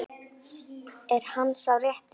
Er hann sá rétti?